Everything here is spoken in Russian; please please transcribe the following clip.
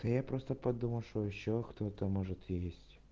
да я просто подумал что ещё кто-то может есть